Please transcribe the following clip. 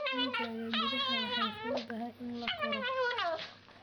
Digaagga gudaha way fududahay in la koro.